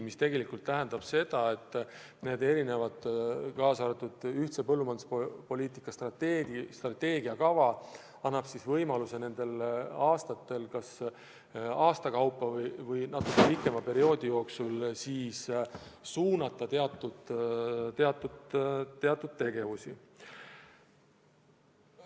See tegelikult tähendab seda, et ühise põllumajanduspoliitika strateegia kava annab võimaluse nendel aastatel kas aastate kaupa või natuke pikema perioodi jooksul teatud tegevusi suunata.